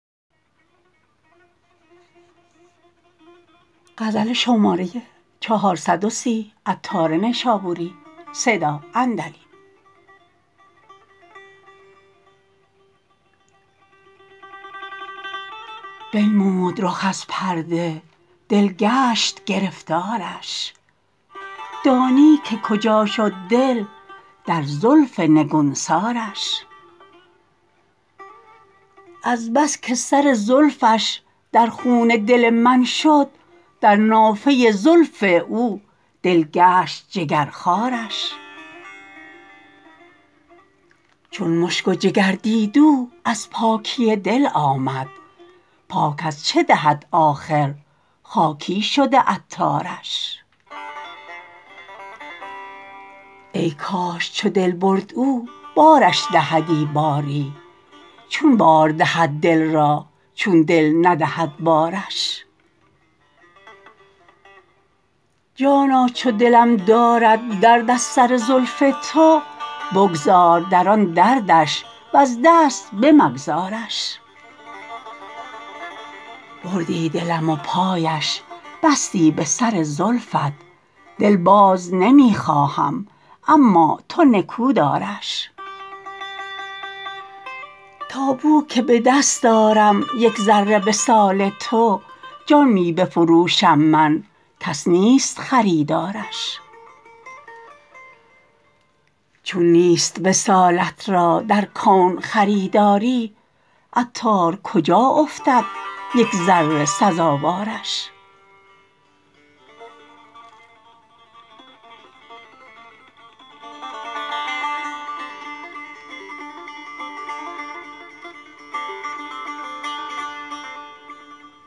بنمود رخ از پرده دل گشت گرفتارش دانی که کجا شد دل در زلف نگونسارش از بس که سر زلفش در خون دل من شد در نافه زلف او دل گشت جگرخوارش چون مشک و جگر دید او در ناک دهی آمد ناک از چه دهد آخر خاکی شده عطارش ای کاش چو دل برد او بارش دهدی باری چون بار دهد دل را چون دل ندهد بارش جانا چو دلم دارد درد از سر زلف تو بگذار در آن دردش وز دست بمگذارش بردی دلم و پایش بستی به سر زلفت دل باز نمی خواهم اما تو نکو دارش تا بو که به دست آرم یک ذره وصال تو جان می بفروشم من کس نیست خریدارش چون نیست وصالت را در کون خریداری عطار کجا افتد یک ذره سزاوارش